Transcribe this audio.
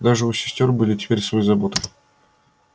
даже у сестёр были теперь свои заботы